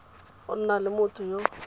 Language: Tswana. go nna le motho yo